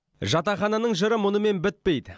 жатақхананың жыры мұнымен бітпейді